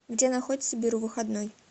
где находится беру выходной